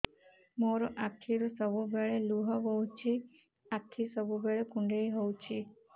ମୋର ଆଖିରୁ ସବୁବେଳେ ଲୁହ ବୋହୁଛି ଆଖି ସବୁବେଳେ କୁଣ୍ଡେଇ ହଉଚି